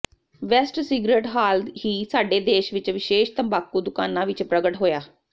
West cigarette ਹਾਲ ਹੀ ਸਾਡੇ ਦੇਸ਼ ਵਿਚ ਵਿਸ਼ੇਸ਼ ਤੰਬਾਕੂ ਦੁਕਾਨਾ ਵਿੱਚ ਪ੍ਰਗਟ ਹੋਇਆ